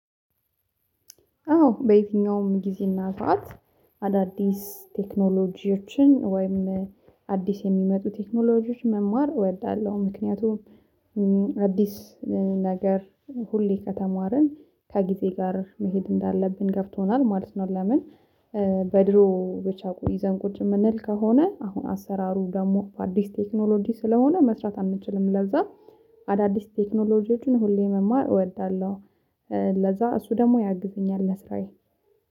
አዎ በየትኛውም ጊዜና ሰዓት አዳዲስ ቴክኖሎጂዎችን ወይም አዲስ የሚመጡ ቴክኖሎጂዎች መማር እወዳለሁ ምክንያቱም አዲስ ነገር ሁሌ ከተማርን ከጊዜ ጋር መሄድ እንዳለብን ገብቶናል ማለት ነው። ለምን? በድሮ ብቻ ይዘን ቁጭ የምንል ከሆነ አሁን አሰራሩ ደግሞ በአዲስ ቴክኖሎጂ ስለሆነ መስራት አንችልም። ለዛ አዳዲስ ቴክኖሎጂዎችን ሁሌ መማር እወዳለሁ። ለዛ እሱ ደግሞ ያግዘኛል ለስራዬ